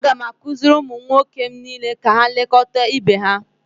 a ga m akụziri ụmụ m nwoke niile ka ha na-elekọta ibe ha